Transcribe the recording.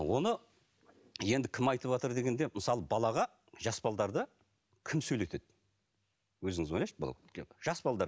оны енді кім айтыватыр дегенде мысалы балаға жас кім сөйлетеді өзіңіз ойлаңызшы жас